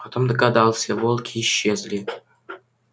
потом догадался волки исчезли